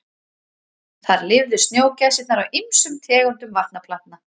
Þar lifðu snjógæsirnar á ýmsum tegundum vatnaplantna.